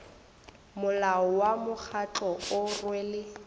molao wa mokgatlo o rwele